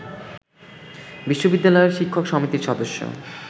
বিশ্ববিদ্যালয়ের শিক্ষক সমিতির সদস্য